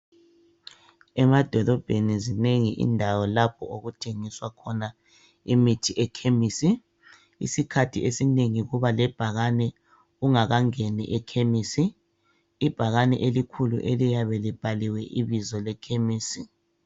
emadolobheni zinengi indawo lapho okuthengiswa khona imithi emakhemisi isikhathi esinengi kuba lebhakane ungakangeni ekhemisi ibhakane elikhulu eliyabe libhaliwe ibizo le khemisi